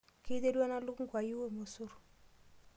Keiterua ena lukunku ayiu irmosor?